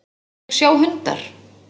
Hvernig sjá hundar?